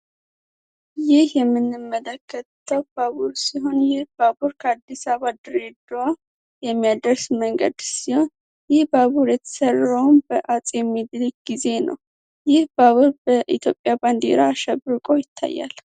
የምንመለከተው ባቡር ሲሆን ከአዲስ አበባ የሚያደርስ መንገሻ በአጼ ሚኒሊክ ጊዜ ነው በኢትዮጵያ ባንዲራ አሸብርቆ ይታያል